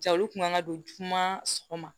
Ja olu kun kan ka don juma sɔgɔma